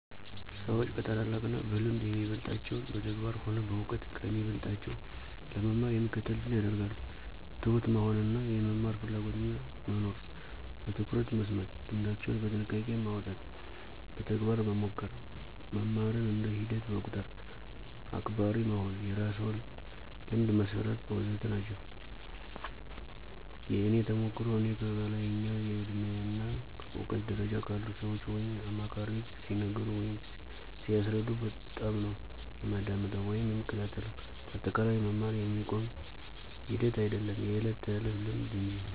ሰዎች ከታላላቅ እና በልምድ የሚበልጣቸውን በተግባር ሆነ በእውቀት ከሚበልጦቸው ለመማር የሚከተሉትን ያደርጋሉ፦ ትሁት መሆን እና የመማር ፍላጎትና መኖር፣ በትኩረት መስማት፣ ልምዳቸውን በጥያቄ ማውጣት፣ በተግባር መሞከር፣ መማርን እንደ ሂደት መቁጠር፣ አክባሪ መሆን፣ የራስዎን ልምድ መሠርት... ወዘተ ናቸው። የእኔ ተሞክሮ፦ እኔ ከላይኛው የእድሜ እና እውቀት ደረጃ ካሉ ሰዎች ወይም አማካሪዎች ሲነገሩ ወይም ሲያስረዱ በጣምነው የማዳምጠው ወይም የምከታተለው በአጠቃላይ መማር የሚቆም ሂደት አይዶለም የዕለት ተዕለት ልምምድ እንጂ።